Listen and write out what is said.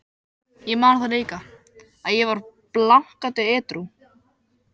Ég man það líka, að ég var blankandi edrú.